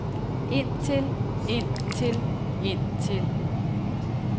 indtil indtil indtil